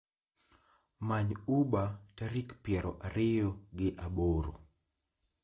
Many uber tarik piero ariyo gi aboro